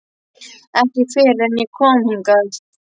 Ekki fyrr en ég kom hingað.